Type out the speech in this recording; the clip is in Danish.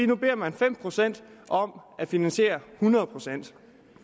nu beder man fem procent om at finansiere hundrede procent